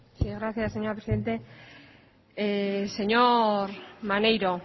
gracias señora presidenta señor maneiro